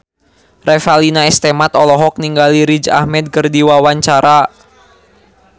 Revalina S. Temat olohok ningali Riz Ahmed keur diwawancara